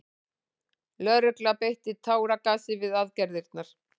Lögregla beitti táragasi við aðgerðirnar